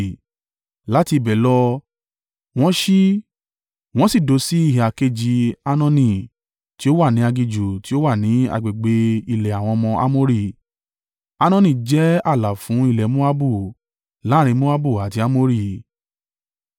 Láti ibẹ̀ lọ, wọn ṣí, wọ́n sì dó sí ìhà kejì Arnoni, tí ó wà ní aginjù tí ó wà ní agbègbè ilẹ̀ àwọn ọmọ Amori. Arnoni jẹ́ ààlà fún ilẹ̀ Moabu, láàrín Moabu àti Amori.